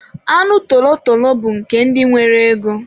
Anụ tolotolo bụ nke ndị nwere ego.